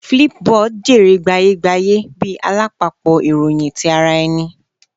Flipboard jèrè gbaye-gbaye bi alapapọ iroyin ti ara ẹni